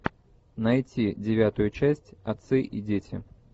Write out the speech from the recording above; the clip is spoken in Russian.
найти девятую часть отцы и дети